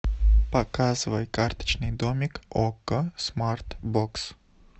показывай карточный домик окко смарт бокс